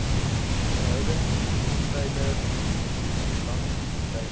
verhoudings treiler langlyn